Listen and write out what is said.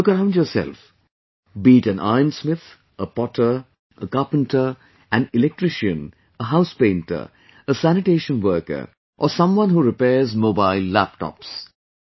Look around yourself; be it an ironsmith, a potter, a carpenter, an electrician, a house painter, a sanitation worker, or someone who repairs mobilelaptops